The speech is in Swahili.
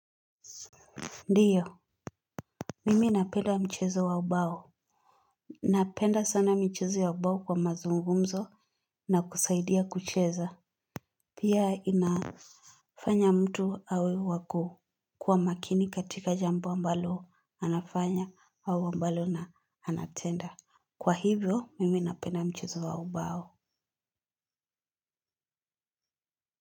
Ndiyo, mimi napenda mchezo wa ubao. Napenda sana mchezo wa ubao kwa mazungumzo na kusaidia kucheza. Pia inafanya mtu awe wako kwa makini katika jambo ambalo anafanya au ambalo na anatenda. Kwa hivyo, mimi napenda mchezo wa ubao.